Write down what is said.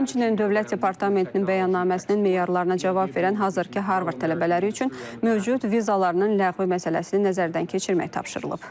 Həmçinin Dövlət Departamentinin bəyannaməsinin meyarlarına cavab verən hazırki Harvard tələbələri üçün mövcud vizalarının ləğvi məsələsini nəzərdən keçirmək tapşırılıb.